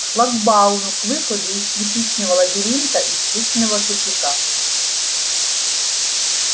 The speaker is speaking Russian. к шлагбауму к выходу из кирпичного лабиринта из петиного тупика